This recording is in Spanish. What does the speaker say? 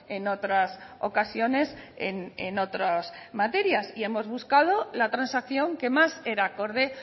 en otras ocasiones en otras materias y hemos buscado la transacción que más era acorde